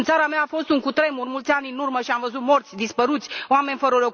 În țara mea a fost un cutremur cu mulți ani în urmă și am văzut morți, dispăruți, oameni fără